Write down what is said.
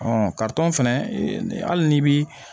fɛnɛ ni hali n'i bi